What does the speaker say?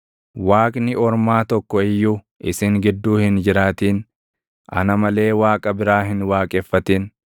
Waaqni ormaa tokko iyyuu isin gidduu hin jiraatin; ana malee waaqa biraa hin waaqeffatin.